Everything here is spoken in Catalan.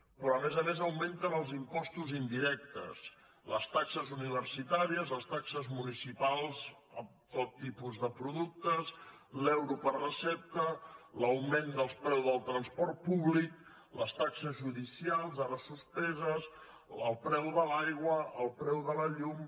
però a més a més augmenten els impostos indirectes les taxes universitàries les taxes municipals amb tot tipus de productes l’euro per recepta l’augment del preu del transport públic les taxes judicials ara suspeses el preu de l’aigua el preu de la llum